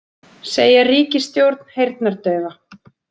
Segja ríkisstjórn heyrnardaufa